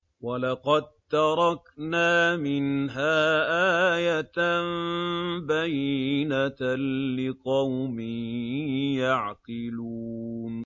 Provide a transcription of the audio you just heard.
وَلَقَد تَّرَكْنَا مِنْهَا آيَةً بَيِّنَةً لِّقَوْمٍ يَعْقِلُونَ